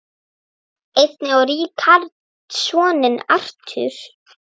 Einnig á Richard soninn Arthur.